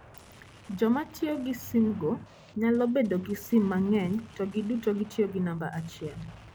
Joma tiyo gi simgo nyalo bedo gi sim mang'eny to giduto gitiyo gi namba achiel.